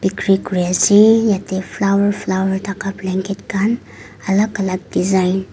kre kurise yate flower flower thaka blanket khan alag alag design .